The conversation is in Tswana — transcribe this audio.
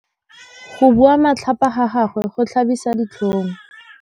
Go bua matlhapa ga gagwe go tlhabisa ditlhong.